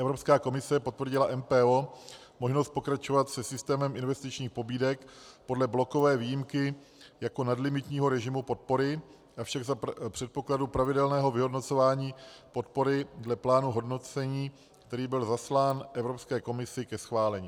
Evropská komise potvrdila MPO možnost pokračovat se systémem investičních pobídek podle blokové výjimky jako nadlimitního režimu podpory, avšak za předpokladu pravidelného vyhodnocování podpory dle plánu hodnocení, který byl zaslán Evropské komisi ke schválení.